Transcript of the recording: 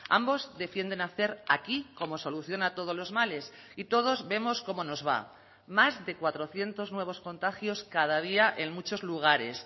ambos defienden hacer aquí como solución a todos los males y todos vemos cómo nos va más de cuatrocientos nuevos contagios cada día en muchos lugares